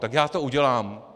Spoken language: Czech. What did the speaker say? Tak já to udělám.